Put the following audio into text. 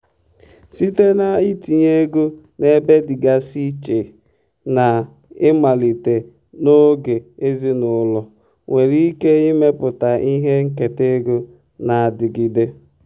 site na ntinye ego n'ebe dịgasị iche na imalite n'oge ezinụlọ nwere ike ịmepụta ihe nketa ego na-adịgide.